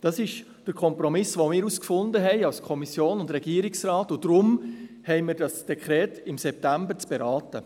Dies ist der Kompromiss, den wir als Kommission und Regierungsrat gefunden haben, und darum haben wir im September dieses Dekret zu beraten.